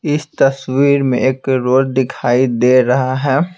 इस तस्वीर में एक रोड दिखाई दे रहा है।